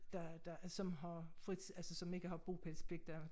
Der der som har fri altså som ikke har bopælspligt der